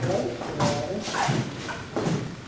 Dez horas, a gente volta.